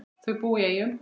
Þau búa í Eyjum.